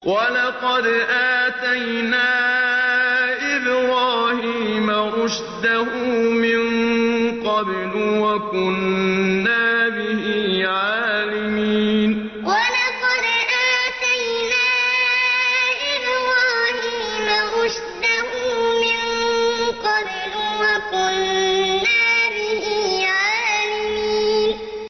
۞ وَلَقَدْ آتَيْنَا إِبْرَاهِيمَ رُشْدَهُ مِن قَبْلُ وَكُنَّا بِهِ عَالِمِينَ ۞ وَلَقَدْ آتَيْنَا إِبْرَاهِيمَ رُشْدَهُ مِن قَبْلُ وَكُنَّا بِهِ عَالِمِينَ